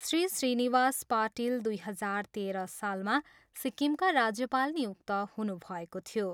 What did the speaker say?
श्री श्रीनिवास पाटिल दुई हजार तेह्र सालमा सिक्किमका राज्यपाल नियुक्त हुनुभएको थियो।